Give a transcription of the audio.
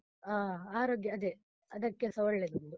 ಹಾ, ಆರೋಗ್ಯ ಅದೆ ಅದಕ್ಕೆಸ ಒಳ್ಳೆದು.